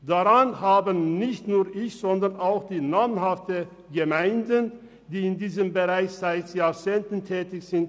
Daran habe nicht nur ich grosse Zweifel, sondern auch die namhaften Gemeinden, die seit Jahrzehnten in diesem Bereich tätig sind.